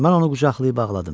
Mən onu qucaqlayıb ağladım.